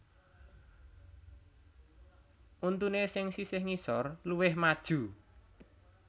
Untuné sing sisih ngisor luwih maju